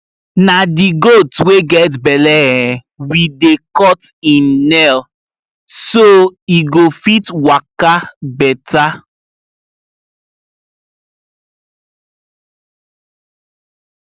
na the goat wey get belle um we dey cut im nail so e go fit waka better